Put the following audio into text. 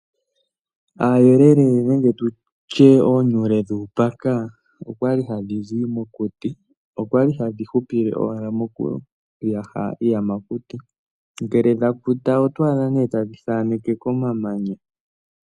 Aayelele nenge tutye oonyule dhuupaka okwali hadhi zi mokuti okwa li hadhi hupile owala moku yaha iiyamakuti ngele dha kuta oto adha nee tadhi thaaneke komamanya.